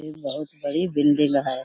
ये बहुत बड़ी बिल्डिंग है।